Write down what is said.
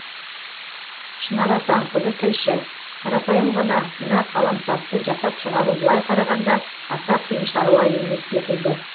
шынар асанқызы тілші қарапайым ғана мына қаламсапты жасап шығару былай қарағанда аса қиын шаруа емес секілді